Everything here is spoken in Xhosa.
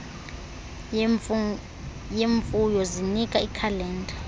yemfuyo zinika iikhalenda